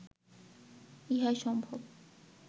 ইহাই সম্ভব